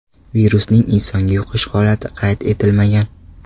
Virusning insonga yuqish holati qayd etilmagan.